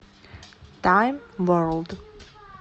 тайм ворлд